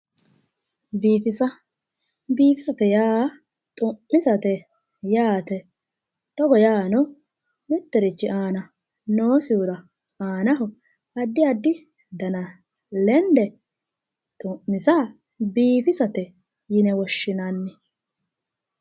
Biifisa, biifisate yaa xu'misate yaate, togo yaano mittirichi aana noosihura aanaho addi addi dana lende xu'misa biifisate yine woshshinanni.